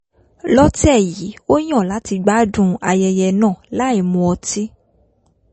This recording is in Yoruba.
lọ́tẹ̀ yìí ó yàn láti gbádùn ayẹyẹ náà láìmu ọtí